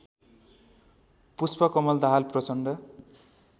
Pushpa Kamal Dahal Prachanda